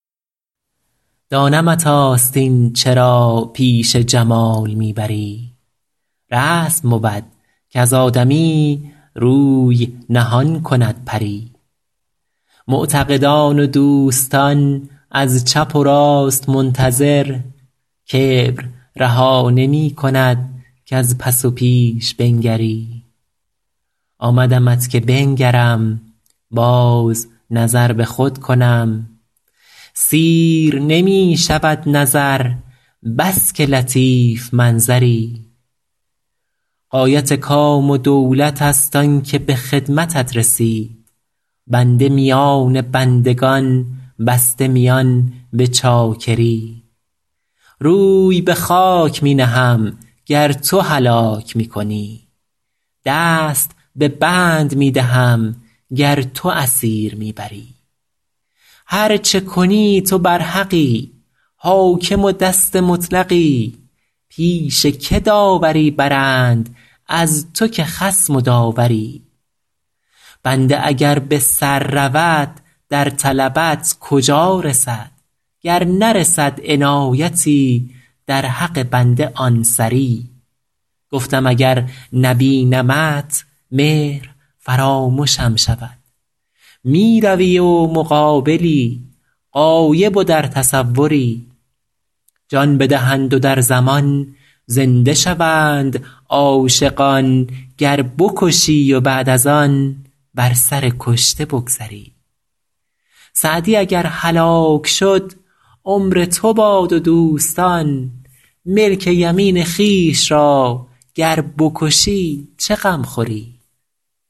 دانمت آستین چرا پیش جمال می بری رسم بود کز آدمی روی نهان کند پری معتقدان و دوستان از چپ و راست منتظر کبر رها نمی کند کز پس و پیش بنگری آمدمت که بنگرم باز نظر به خود کنم سیر نمی شود نظر بس که لطیف منظری غایت کام و دولت است آن که به خدمتت رسید بنده میان بندگان بسته میان به چاکری روی به خاک می نهم گر تو هلاک می کنی دست به بند می دهم گر تو اسیر می بری هر چه کنی تو برحقی حاکم و دست مطلقی پیش که داوری برند از تو که خصم و داوری بنده اگر به سر رود در طلبت کجا رسد گر نرسد عنایتی در حق بنده آن سری گفتم اگر نبینمت مهر فرامشم شود می روی و مقابلی غایب و در تصوری جان بدهند و در زمان زنده شوند عاشقان گر بکشی و بعد از آن بر سر کشته بگذری سعدی اگر هلاک شد عمر تو باد و دوستان ملک یمین خویش را گر بکشی چه غم خوری